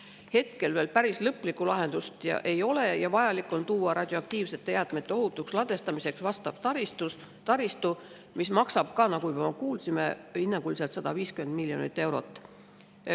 Hetkel veel päris lõplikku lahendust ei ole ja vajalik on luua radioaktiivsete jäätmete ohutuks ladustamiseks vastav taristu, mis maksab, nagu me juba kuulsime, hinnanguliselt 150 miljonit eurot.